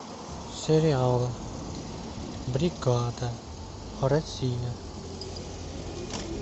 сериал бригада россия